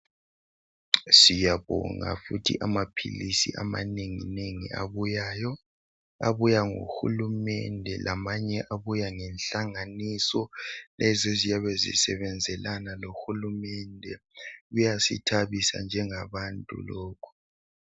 Siyabonga futhi amaphilisi amanenginengi abuyayo abuya ngohulumende lamanye abuya ngenhlanganiso lezo eziyabe zisebenzelana lohulumende kuyasithabisa njengabantu lokho.